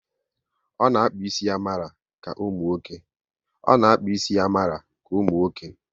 O na akpu ísì ya mara ka ụmụnwoke